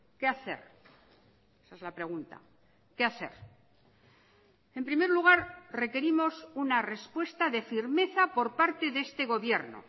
qué hacer esa es la pregunta qué hacer en primer lugar requerimos una respuesta de firmeza por parte de este gobierno